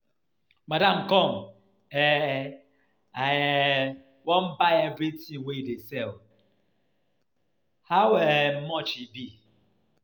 Madam come, um I um wan buy everything you dey sell, how um much dey be?